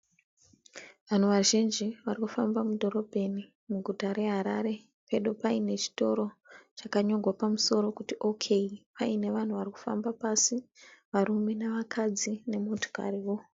Vanhu vazhinji vari kufamba mudhorobheni muguta reHarare. Pedo paine chitoro chakanyorwa pamusoro kuti 'Ok" paine vanhu vari kufamba pasi varume nevakadzi nemotokariwo.